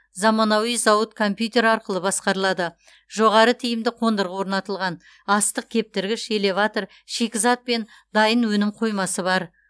замануи зауыт компьютер арқылы басқарылады жоғары тиімді қондырғы орнатылған астық кептіргіш элеватор шикізат пен дайын өнім қоймасы бар